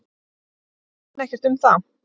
Efast menn ekkert um það?